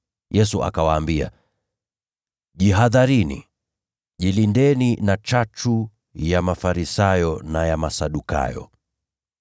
Yesu akawaambia, “Jihadharini. Jilindeni na chachu ya Mafarisayo na ya Masadukayo.”